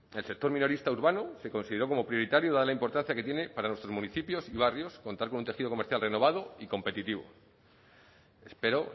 el sector minorista urbano se consideró como prioritario dada la importancia que tiene para nuestros municipios y barrios un tejido comercial renovado y competitivo espero